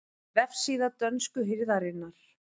Vefsíða dönsku hirðarinnar